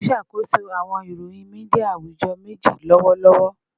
Mo n ṣakoso awọn iroyin media awujọ meji lọwọlọwọ